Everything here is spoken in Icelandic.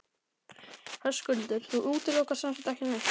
Höskuldur: Þú útilokar sem sagt ekki neitt?